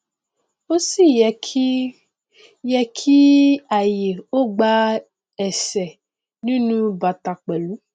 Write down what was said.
ó sì yẹ kí yẹ kí ààyè ó gba esè nínú u bàtà pẹlú